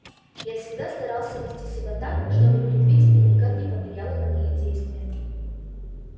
я всегда старался вести себя так чтобы предвидение никак не повлияло на мои действия